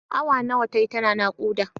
Awa nawa tayi tana naƙuda?